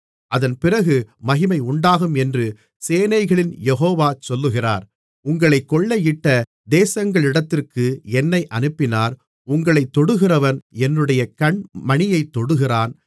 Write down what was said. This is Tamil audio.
அதன்பிறகு மகிமையுண்டாகும் என்று சேனைகளின் யெகோவா சொல்லுகிறார் உங்களைக் கொள்ளையிட்ட தேசங்களிடத்திற்கு என்னை அனுப்பினார் உங்களைத் தொடுகிறவன் என்னுடைய கண்மணியைத் தொடுகிறான்